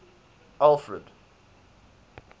alfred